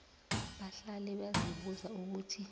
bahlale bazibuza ukuthi